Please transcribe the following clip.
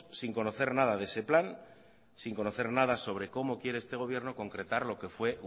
sin conocer nada de ese plan sin conocer nada sobre cómo quiere este gobierno concretar lo que fue